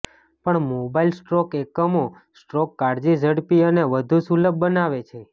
પણ mobile stroke એકમો stroke કાળજી ઝડપી અને વધુ સુલભ બનાવે છે